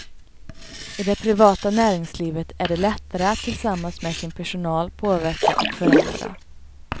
I det privata näringslivet är det lättare att tillsammans med sin personal påverka och förändra.